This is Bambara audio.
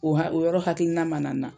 O ha o yɔrɔ hakilina man na n na.